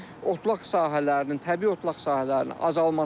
Həm otlaq sahələrinin, təbii otlaq sahələrinin azalmasıdır.